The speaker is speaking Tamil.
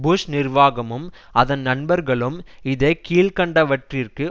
புஷ் நிர்வாகமும் அதன் நண்பர்களும் இதை கீழ்க்கண்டவற்றிற்கு